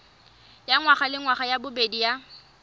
ya ngwagalengwaga ya bobedi ya